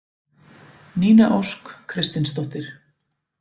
Nína Ósk Kristinsdóttir